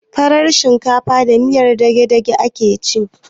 Farar shinkafa da miyan dagedage ake ci